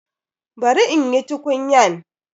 Bari in yi tukunyan.